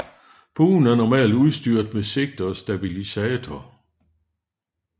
Buen er normalt udstyret med sigte og stabilisator